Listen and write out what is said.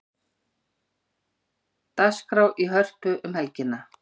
Dagskrá í Hörpu um helgina